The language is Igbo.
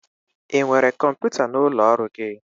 Ị nwere kọmputa n'ụlọ ọrụ gị?